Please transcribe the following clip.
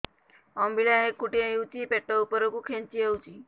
ଅମ୍ବିଳା ହେକୁଟୀ ହେଉଛି ପେଟ ଉପରକୁ ଖେଞ୍ଚି ହଉଚି